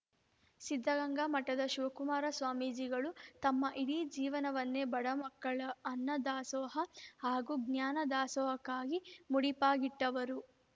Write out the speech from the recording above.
ಸಿದ್ದಗಂಗಾ ಮಠದ ಶಿವಕುಮಾರ ಸ್ವಾಮೀಜಿಗಳು ತಮ್ಮ ಇಡೀ ಜೀವನವನ್ನೇ ಬಡ ಮಕ್ಕಳ ಅನ್ನ ದಾಸೋಹ ಹಾಗೂ ಜ್ಞಾನ ದಾಸೋಹಕ್ಕಾಗಿ ಮುಡಿಪಾಗಿಟ್ಟವರು